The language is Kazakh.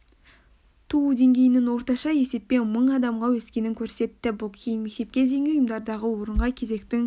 туу деңгейінің орташа есеппен мың адамға өскенін көрсетті бұл кейін мектепке дейінгі ұйымдардағы орынға кезектің